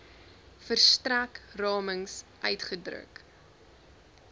verstrek ramings uitgedruk